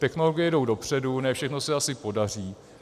Technologie jdou dopředu, ne všechno se asi podaří.